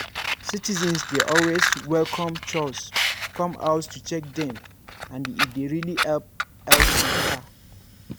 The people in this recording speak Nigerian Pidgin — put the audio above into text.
citizens dey always welcome chws come house to check dem and e dey really help health mata.